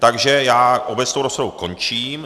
Takže já obecnou rozpravu končím.